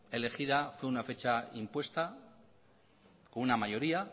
elegida fue una fecha impuesta por una mayoría